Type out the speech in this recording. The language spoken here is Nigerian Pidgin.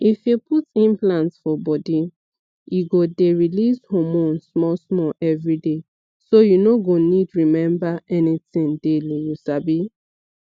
if you put implant for body e go dey release hormone small-small every day so you no go need remember anything daily you sabi